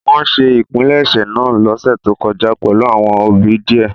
Wọn ṣe ìpilẹ̀ṣẹ̀ naa losẹ to kọja pẹlu awọn obì diẹ.